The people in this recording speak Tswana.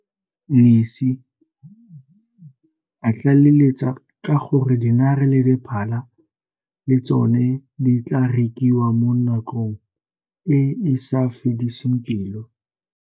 Ngesi, a tlaleletsa ka gore dinare le diphala le tsone di tla rekiwa mo nakong e e sa fediseng pelo.